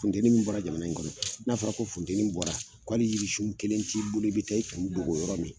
Funteni min bɔra jamana in kɔnɔ , n'a fɔra ko funteni bɔra k'ale yirisun kelen t'i bolo i bi taa i kun dogo yɔrɔ min